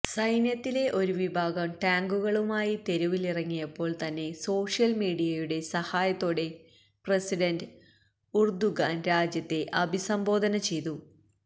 സൈന്യത്തിലെ ഒരു വിഭാഗം ടാങ്കുകളുമായി തെരുവിലിറങ്ങിയപ്പോള് തന്നെ സോഷ്യല്മീഡിയയുടെ സഹായത്തോടെ പ്രസിഡന്റ് ഉര്ദുഗാന് രാജ്യത്തെ അഭിസംബോധന ചെയ്തു